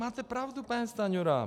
Máte pravdu, pane Stanjuro.